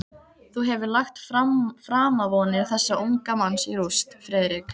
Þú hefur lagt framavonir þessa unga manns í rúst, Friðrik.